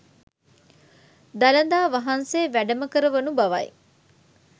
දළදා වහන්සේ වැඩම කර වනු බවයි.